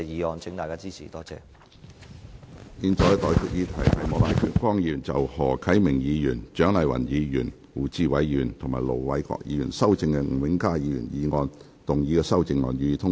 我現在向各位提出的待議議題是：莫乃光議員就經何啟明議員、蔣麗芸議員、胡志偉議員及盧偉國議員修正的吳永嘉議員議案動議的修正案，予以通過。